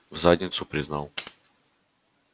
в задницу признал